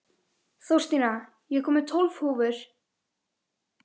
Þórstína, ég kom með tólf húfur!